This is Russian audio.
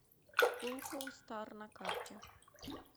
пулково стар на карте